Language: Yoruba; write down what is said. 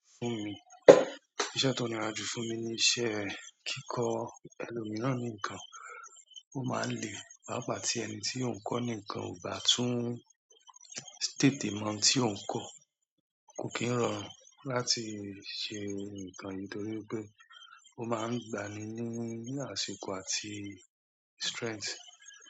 Fún mi, iṣẹ́ tó nira jù fún mi ni iṣẹ́ kíkọ ẹlòmiíràn nìkan. Ó máa ń le pápá tí ẹni tí ó ń kọ́ nìkan ò bá tún tètè mọ ohun tí ó ń kọ. Kò kí ń rọrùn láti ṣe nǹkan yìí torí pé ó máa ń gba ni ní àsìkò àti strength.